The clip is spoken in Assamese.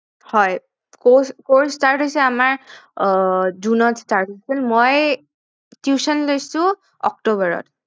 হয় course start হৈছে আমাৰ আহ জুনত start হৈছে মই tuition লৈছো অক্টোবৰত